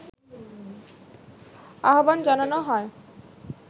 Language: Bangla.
আহবান জানানো হয়